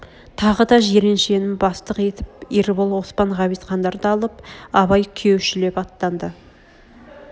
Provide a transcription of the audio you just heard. тағы да жиреншен бастық етіп ербол оспан ғабитхандарды алып абай күйеушілеп атанды